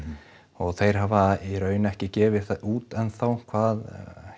og þeir hafa í raun ekki gefið það út enn þá hvað